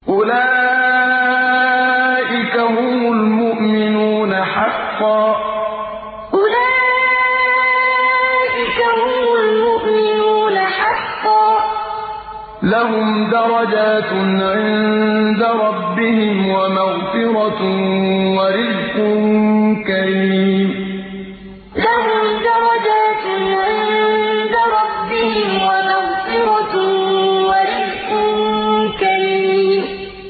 أُولَٰئِكَ هُمُ الْمُؤْمِنُونَ حَقًّا ۚ لَّهُمْ دَرَجَاتٌ عِندَ رَبِّهِمْ وَمَغْفِرَةٌ وَرِزْقٌ كَرِيمٌ أُولَٰئِكَ هُمُ الْمُؤْمِنُونَ حَقًّا ۚ لَّهُمْ دَرَجَاتٌ عِندَ رَبِّهِمْ وَمَغْفِرَةٌ وَرِزْقٌ كَرِيمٌ